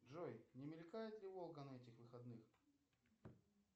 джой не мелькает ли волга на этих выходных